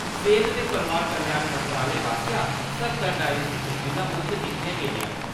सेह्त ते परवार कल्याण मंत्रालय पासेआ स्हत्तर डायलिसिस मशीनां मुफ्त दित्तिया गेईयां न ।